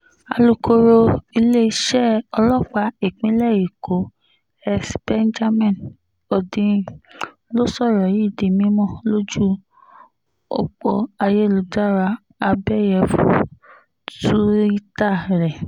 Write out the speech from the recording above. alūkọ̀rọ̀ iléeṣẹ́ ọlọ́pàá ìpínlẹ̀ èkó s benjamin hondyin ló sọ̀rọ̀ yìí di mímọ́ lójú ọ̀pọ̀ ayélujára abẹ́yẹfọ́ túìta rẹ̀